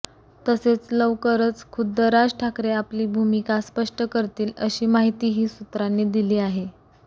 तसेच लवकरच खुद्द राज ठाकरे आपली भूमिका स्पष्ट करतील अशी माहितीही सूत्रांनी दिली आहे